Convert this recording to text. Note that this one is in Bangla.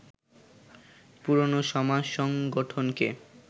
পুরনো সমাজ-সংগঠনকে